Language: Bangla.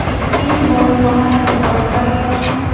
একটি বড়ো লোহার দরজা রয়েছে।